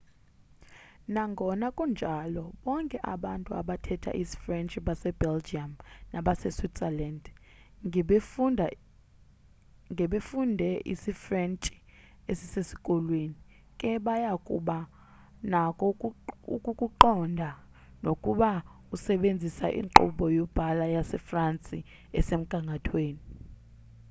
nangona kunjalo bonke abantu abathetha isifrentshi basebelgium nabaseswitzerland ngebefunde isifrentshi esisesikolweni ke baya kuba nakho ukukuqonda nokuba usebenzisa inkqubo yokubala yasefransi esemgangathweni